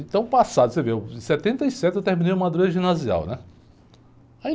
Então, passado, você vê, em setenta e sete eu terminei o, né?